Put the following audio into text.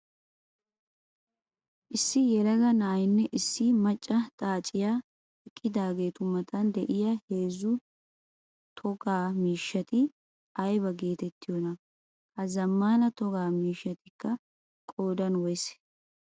Issi yelagaa na'aynne issi macca xaaciya eqqidaagetu matan de'iyaa heezzu togaa miishshatti ayba geetettiyoona? Ha zamaana togaa miishshatikka qoodan woysee?